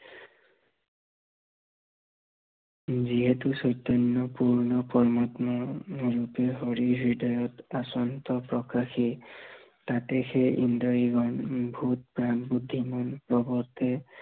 যিহেতু চৈতন্য় পূৰ্ণ পৰমাত্মা, দেহ হৰি হৃদয়ত আচন্ত প্ৰকাশি, তাতে সেই ইন্দ্ৰিয় ভূত প্ৰাণ, বুদ্ধিমান, লগতে